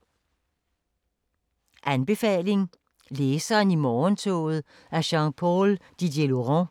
Anbefaling: Læseren i morgentoget af Jean-Paul Didierlaurent